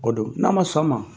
O do n'a ma sɔn o ma.